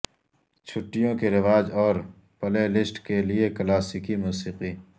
چھٹیوں کے رواج اور پلے لسٹ کے لئے کلاسیکی موسیقی